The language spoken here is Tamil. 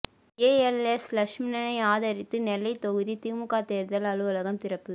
ஏஎல்எஸ் லட்சுமணனை ஆதரித்து நெல்லை தொகுதி திமுக தேர்தல் அலுவலகம் திறப்பு